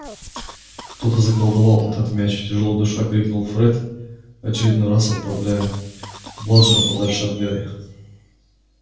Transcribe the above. кто-то заколдовал этот мяч тяжело дыша крикнул фред очередной раз отправляя бладжер подальше от гарри